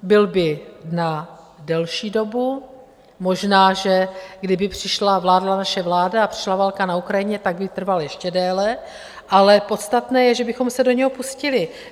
Byl by na delší dobu, možná, že kdyby přišla, vládla naše vláda a přišla válka na Ukrajině, tak by trval ještě déle, ale podstatné je, že bychom se do něho pustili.